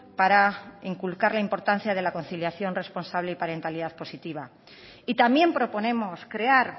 para inculcar la importancia de la conciliación responsable y parentalidad positiva y también proponemos crear